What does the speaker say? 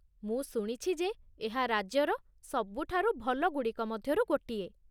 ମୁଁ ଶୁଣିଛି ଯେ ଏହା ରାଜ୍ୟର ସବୁଠାରୁ ଭଲଗୁଡ଼ିକ ମଧ୍ୟରୁ ଗୋଟିଏ?